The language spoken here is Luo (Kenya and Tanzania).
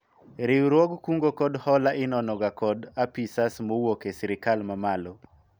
riwruog kungo kod hola inono ga kod apisas mowuok e sirikal mamalo